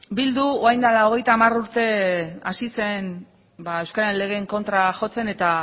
bildu orain dela hogeita hamar urte hasi zen euskararen legeen kontra jotzen eta